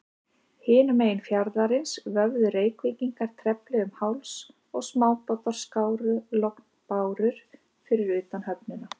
Hinum megin fjarðarins vöfðu Reykvíkingar trefli um háls, og smábátar skáru lognbárur fyrir utan höfnina.